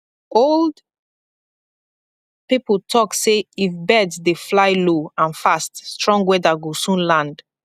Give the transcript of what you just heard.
old people dey talk say if bird dey fly low and fast strong weather go soon land